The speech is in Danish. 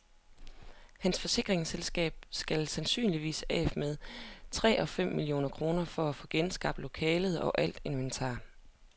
Hans forsikringsselskab skal sandsynligvis af med mellem tre og fem millioner kroner for at få genskabt lokalet og alt inventar.